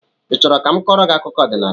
I chọrọ ka m kọọrọ gị akụkọ ọdịnala?